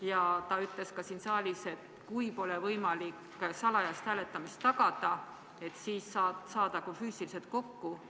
Ja ta ütles ka siin saalis, et kui pole võimalik salajast hääletamist tagada, siis saadagu füüsiliselt kokku.